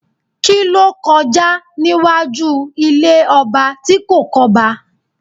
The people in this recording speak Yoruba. Kí ló kọjá níwájú ilé ọba tí kò kọ́ba?